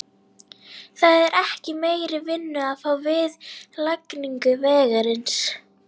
Það er ekki meiri vinnu að fá við lagningu vegarins.